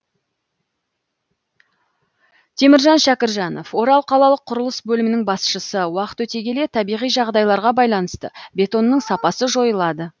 теміржан шәкіржанов орал қалалық құрылыс бөлімінің басшысы уақыт өте келе табиғи жағдайларға байланысты бетонның сапасы жойылады